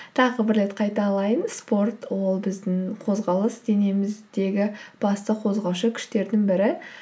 тағы бір рет қайталаймын спорт ол біздің қозғалыс денеміздегі басты қозғаушы күштерінің бірі